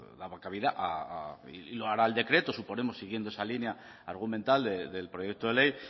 pues daba cabida y lo hará el decreto suponemos siguiendo esa línea argumental del proyecto de ley